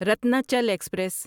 Ratnachal express